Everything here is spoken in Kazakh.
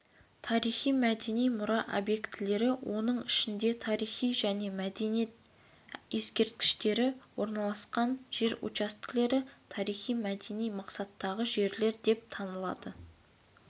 тарихи-мәдени мұра объектілері оның ішінде тарих және мәдениет ескерткіштері орналасқан жер учаскелері тарихи-мәдени мақсаттағы жерлер деп танылады